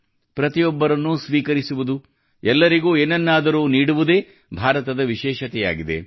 ಪ್ರತಿಯೊಬ್ಬರನ್ನು ಸ್ವೀಕರಿಸುವದು ಎಲ್ಲರಿಗೂ ಏನನ್ನಾದರೂ ನೀಡುವುದೇ ಭಾರತದ ವಿಶೇಷತೆಯಾಗಿದೆ